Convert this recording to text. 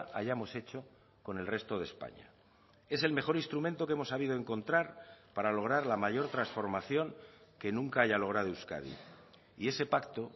hayamos hecho con el resto de españa es el mejor instrumento que hemos sabido encontrar para lograr la mayor transformación que nunca haya logrado euskadi y ese pacto